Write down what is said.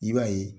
I b'a ye